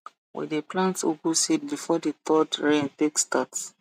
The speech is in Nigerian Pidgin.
we dey plant ugu seed before the third rain take start